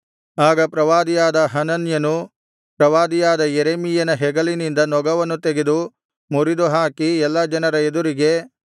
ಆಗ ಪ್ರವಾದಿಯಾದ ಹನನ್ಯನು ಪ್ರವಾದಿಯಾದ ಯೆರೆಮೀಯನ ಹೆಗಲಿನಿಂದ ನೊಗವನ್ನು ತೆಗೆದು ಮುರಿದುಹಾಕಿ ಎಲ್ಲಾ ಜನರ ಎದುರಿಗೆ